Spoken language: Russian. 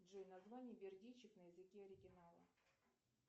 джой название бердичев на языке оригинала